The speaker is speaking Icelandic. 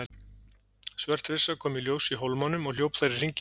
Svört hryssa kom í ljós í hólmanum og hljóp þar í hringi.